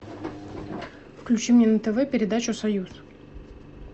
включи мне на тв передачу союз